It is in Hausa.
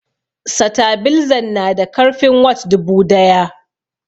Satabilzan na da karfin watts dubu daya